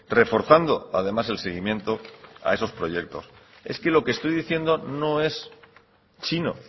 reforzando además el seguimiento a esos proyectos es que lo que estoy diciendo no es chino